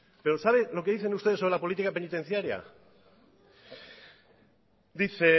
pero sabe lo que dicen ustedes sobre la política penitenciaria dice